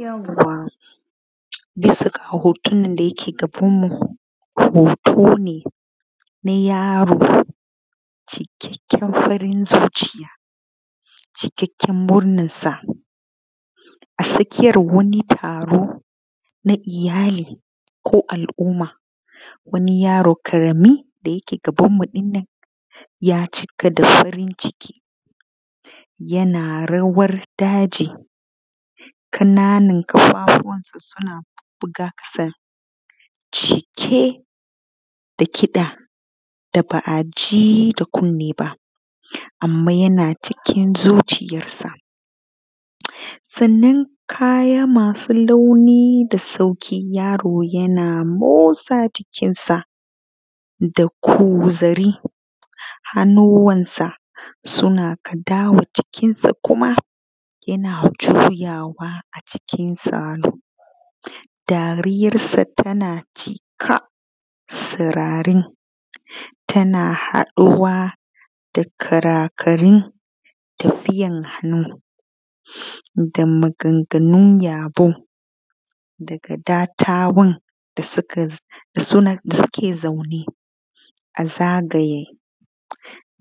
Yauwa bisa ga hotonan da suke gabanmu hoto ne na yaro cikakken farin zuciya, cikakken murnansa a tsakiyan wani taro na iyali ko al’umma, wani yaro ƙarami inda ya cika da farin ciki yana rawan daɗi ƙananan ƙafafunsa suna bubbuga ƙasa cike da kiɗa da ba a ji da kunni ba anman yana cikin zuciyarsa. Sannan kaya masu sauƙi yaro yana motsa jikinsa da ƙuzali hannuwansa suna kaɗa jikinsa, dariyansa tana cika sirare tana haɗuwa da karakarai da tafiyan hannu maganganu yabo daga dattawan da suke zaune a zagaye,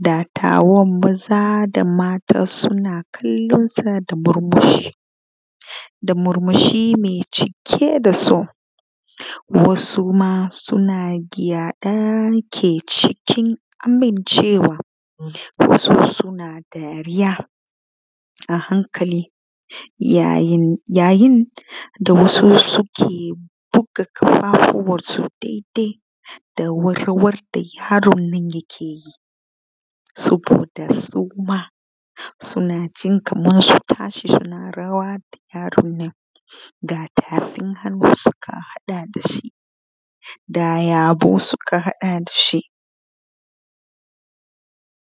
dattauwan maza da mata suna kallonsa kaman da murmushi me cike da so wasu ma suna yaɗa yake kasancewa wasu suna dariya a hankali yayin da wasu suke buga ƙafafuwansu daidai da warwar da yaron yake yi saboda suma suna jin kaman su tashi suna rawa da yaronnan da tafin hannunsa kafaɗa da shi da yabo suka haɗa da shi.